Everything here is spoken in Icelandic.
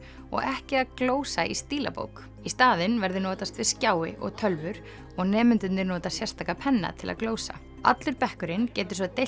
og ekki að glósa í stílabók í staðinn verður notast við og tölvur og nemendurnir nota sérstaka penna til að glósa allur bekkurinn getur svo deilt